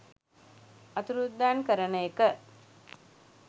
අතුරුදන් කරන එක